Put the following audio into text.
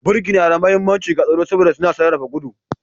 Birki na da mahimmanci ga tsaro saboda suna sarrafa gudu